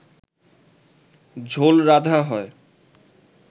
ঝোল রাঁধা হয়